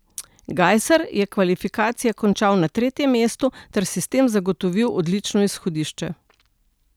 Gajser je kvalifikacije končal na tretjem mestu ter si s tem zagotovil odlično izhodišče.